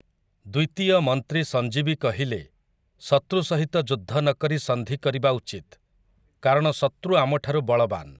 ଦ୍ୱିତୀୟ ମନ୍ତ୍ରୀ ସଂଜୀବୀ କହିଲେ, ଶତୃ ସହିତ ଯୁଦ୍ଧ ନକରି ସନ୍ଧି କରିବା ଉଚିତ୍, କାରଣ ଶତୃ ଆମଠାରୁ ବଳବାନ୍ ।